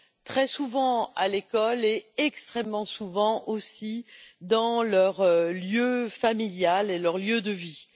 très souvent à l'école et extrêmement souvent aussi dans leur lieu familial et leur lieu de vie.